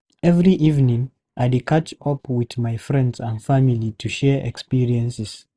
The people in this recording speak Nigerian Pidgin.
Every evening, I dey catch up with my friends and family to share experiences.